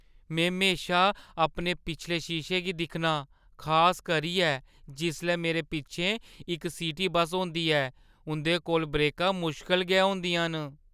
में म्हेशा अपने पिछले शीशे गी दिक्खनां, खास करियै जिसलै मेरे पिच्छें इक सिटी बस्स होंदी ऐ। उंʼदे कोल ब्रेकां मुश्कल गै होंदियां न।